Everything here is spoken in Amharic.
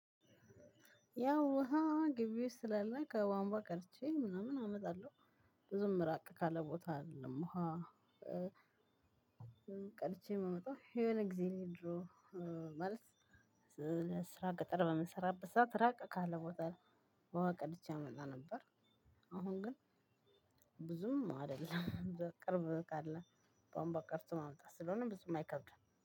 ያው ውሃ ግቢ ውስጥ ስላለ ከቧንቧ ቀድቼ ምናምን አመጣለሁ ብዙም ራቅ ካለ ቦታ አይደለም ውሃ። ቀድቼ የማመጣው የሆነ ጊዜ ነው። ድሮ ማለት ስራ ቅጥር በምሰራበት ሰዓት ራቅ ካለ ቦታ። ውሃ ቀድቼ አመጣ ነበር። አሁን ግን ብዙም አይደለም ቅርብ ካለ ቧምቧ ቀርቶ ማምጣት ስለሆነ ብዙ የማይከብደው